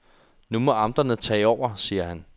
Nu må amterne tage over, siger han.